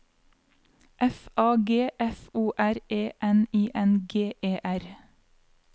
F A G F O R E N I N G E R